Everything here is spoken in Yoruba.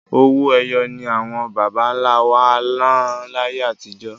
Owó ẹyọ ni àwọn bàbáńlá wá ná láyé atijọ́.